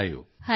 ਹਾਂ ਜੀ